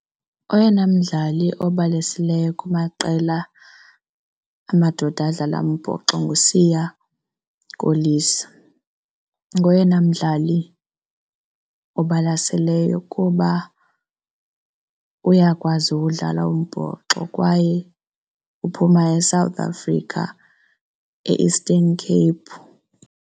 Oyena mdlali obalaseleyo kumaqela amadoda adlala umbhoxo nguSiya Kolisi. Ngoyena mdlali obalaseleyo kuba uyakwazi ukudlala umbhoxo kwaye uphuma eSouth Africa, e-Eastern Cape.